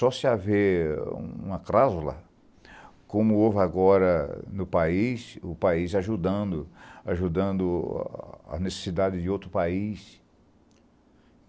Só se haver uma cláusula, como houve agora no país, o país ajudando, ajudando a necessidade de outro país.